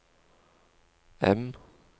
M